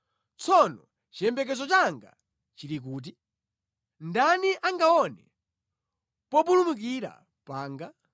tsono chiyembekezo changa chili kuti? Ndani angaone populumukira panga?